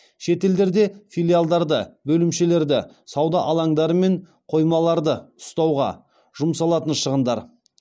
шетелдерде филиалдарды бөлімшелерді сауда алаңдары мен қоймаларды ұстауға жұмсалатын шығындар